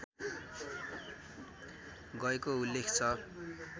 गएको उल्लेख छ